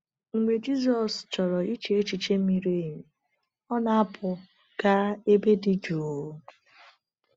Mgbe Jizọs chọrọ iche echiche miri emi, ọ na-apụ gaa ebe dị jụụ.